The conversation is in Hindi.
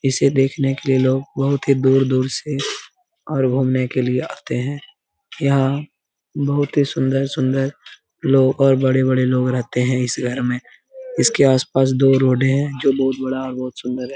इसे देखने के लिए लोग बहुत ही दूर-दूर से और घुमने के लिए आते है यहाँ बहुत ही सुंदर-सुंदर लोग और बड़े-बड़े लोग रहते हैं इस घर में इसके आस पास दो रोडे हैं जो बहुत बड़ा और बहुत सुंदर है।